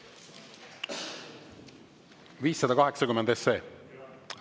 580 SE?